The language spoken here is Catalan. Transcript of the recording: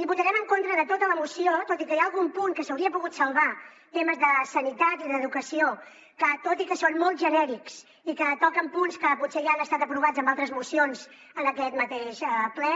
i votarem en contra de tota la moció tot i que hi ha algun punt que s’hauria pogut salvar temes de sanitat i d’educació que tot i que són molt genèrics i que toquen punts que potser ja han estat aprovats en altres mocions en aquest mateix ple